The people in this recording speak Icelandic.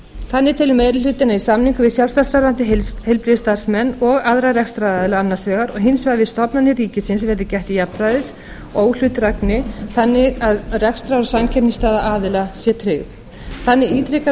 þannig telur meiri hlutinn að í samningum við sjálfstætt starfandi heilbrigðisstarfsmenn og aðra rekstraraðila annars vegar og hins vegar við stofnanir ríkisins verði gætt jafnræðis og óhlutdrægni þannig að rekstrar og samkeppnisstaða aðila sé tryggð þannig ítrekar